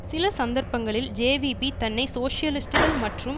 சில சந்தர்ப்பங்களில் ஜேவிபி தன்னை சோசியலிஸ்டுகள் மற்றும்